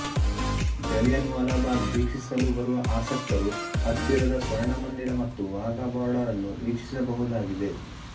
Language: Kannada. ಜಲಿಯನ್ ವಾಲಾ ಬಾಗ್ ವೀಕ್ಷಿಸಲು ಬರುವ ಆಸಕ್ತರು ಹತ್ತಿರದ ಸ್ವರ್ಣ ಮಂದಿರ ಮತ್ತು ವಾಘಾ ಬೋರ್ಡರ್ ಅನ್ನೂ ವೀಕ್ಷಿಸಬಹುದಾಗಿದೆ